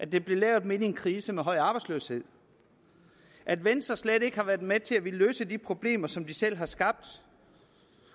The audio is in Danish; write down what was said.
den blev lavet midt i en krise med høj arbejdsløshed at venstre slet ikke har villet være med til at løse de problemer som de selv har skabt